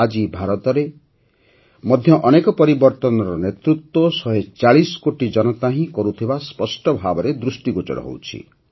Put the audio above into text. ଆଜି ଭାରତରେ ମଧ୍ୟ ଅନେକ ପରିବର୍ତ୍ତନର ନେତୃତ୍ୱ ୧୪୦ କୋଟି ଜନତା ହିଁ କରୁଥିବା ସ୍ପଷ୍ଟ ଭାବେ ଦୃଷ୍ଟିଗୋଚର ହେଉଛି